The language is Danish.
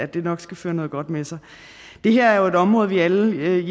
det vil føre noget godt med sig det her er jo et område vi i alle